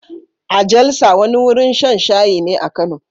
A Jalsa, wani wurin shan shayi ne a Kano